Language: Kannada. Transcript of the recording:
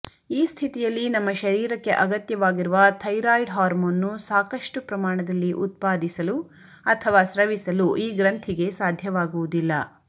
ಈ ಸ್ಥಿತಿಯಲ್ಲಿ ನಮ್ಮ ಶರೀರಕ್ಕೆ ಅಗತ್ಯವಾಗಿರುವ ಥೈರಾಯ್ಡೆ ಹಾರ್ಮೋನ್ನ್ನು ಸಾಕಷ್ಟು ಪ್ರಮಾಣದಲ್ಲಿ ಉತ್ಪಾದಿಸಲು ಅಥವಾ ಸ್ರವಿಸಲು ಈ ಗ್ರಂಥಿಗೆ ಸಾಧ್ಯವಾಗುವುದಿಲ್ಲ